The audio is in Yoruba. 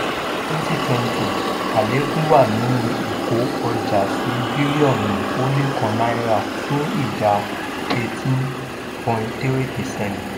ní twenty twenty àlékún wà nínú ìkó ọjà sí bílíọ̀nu ó lé kan náírà fún ìdá eighteen point three percent.